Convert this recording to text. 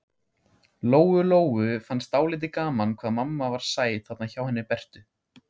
Lóu-Lóu fannst dálítið gaman hvað mamma var sæt þarna hjá henni Bertu.